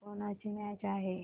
आज कोणाची मॅच आहे